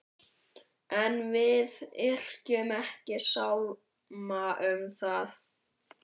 En við yrkjum ekki sálma um þá.